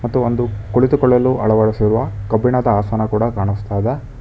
ಮತ್ತು ಒಂದು ಕುಳಿತುಕೊಳ್ಳಲು ಅಳವಡಿಸಿರುವ ಕಬ್ಬಿಣದ ಆಸನ ಕೂಡ ಕಾನಸ್ತಾ ಇದೆ.